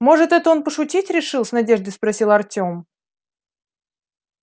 может это он пошутить решил с надеждой спросил артём